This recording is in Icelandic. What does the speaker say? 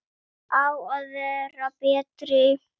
Á að vera betri.